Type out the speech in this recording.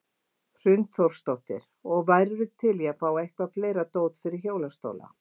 Hrund Þórsdóttir: Og værirðu til í að fá eitthvað fleira dót fyrir hjólastóla?